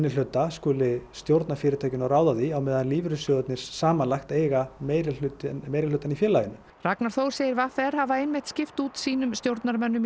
minnihluta skuli stjórna fyrirtækinu og ráða því á meðan að lífeyrissjóðirnir samanlagt eiga meirihlutann meirihlutann í félaginu Ragnar Þór segir v r hafa einmitt skipt út sínum stjórnarmönnum